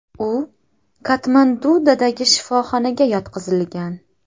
U Katmandudagi shifoxonaga yotqizilgan.